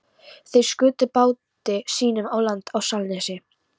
Þeir skutu báti sínum á land á Selnesi.